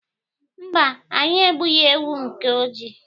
Mba, anyị egbughị ewu nke ojii.